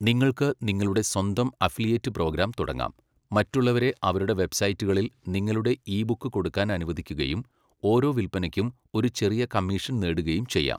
നിങ്ങൾക്ക് നിങ്ങളുടെ സ്വന്തം അഫിലിയേറ്റ് പ്രോഗ്രാം തുടങ്ങാം, മറ്റുള്ളവരെ അവരുടെ വെബ്സൈറ്റുകളിൽ നിങ്ങളുടെ ഇ ബുക്ക് കൊടുക്കാൻ അനുവദിക്കുകയും ഓരോ വിൽപ്പനയ്ക്കും ഒരു ചെറിയ കമ്മീഷൻ നേടുകയും ചെയ്യാം.